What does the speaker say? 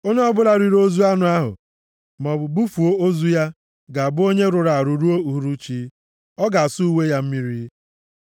Onye ọbụla riri ozu anụ ahụ, maọbụ bufuo ozu ya, ga-abụ onye rụrụ arụ ruo uhuruchi. Ọ ga-asa uwe ya mmiri.